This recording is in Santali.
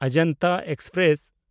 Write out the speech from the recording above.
ᱚᱡᱚᱱᱛᱟ ᱮᱠᱥᱯᱨᱮᱥ